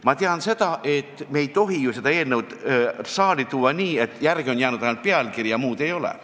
Ma tean, et me ei tohi seda eelnõu saali tuua nii, et järele on jäänud ainult pealkiri ja muud ei ole.